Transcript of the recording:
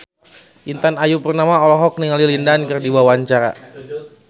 Intan Ayu Purnama olohok ningali Lin Dan keur diwawancara